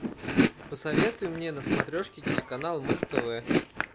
посоветуй мне на смотрешке телеканал муз тв